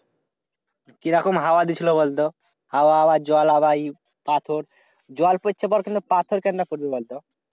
কি রকম হাওয়া দিছিল বলতো? হাওয়া আবার জল আবাই পাথর। জল পড়তে পারছে না, পাথর কেম্নে পড়বে বল তো?